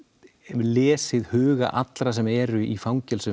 lesið huga allra sem eru í fangelsum